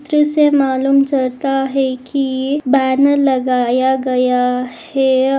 जिससे मालुम चलता है की बॅनर लगाया गया है।